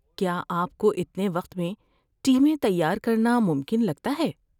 کیا آپ کو اتنے وقت میں ٹیمیں تیار کرنا ممکن لگتا ہے؟